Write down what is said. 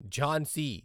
Jhansi